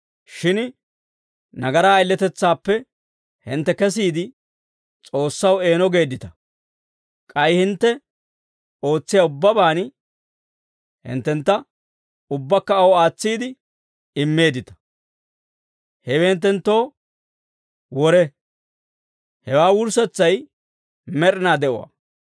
Shin nagaraa ayiletetsaappe hintte kesiide, S'oossaw eeno geeddita; k'ay hintte ootsiyaa ubbabaan hinttentta ubbakka aw aatsiide immeeddita. Hewe hinttenttoo wore; hewaa wurssetsay med'inaa de'uwaa.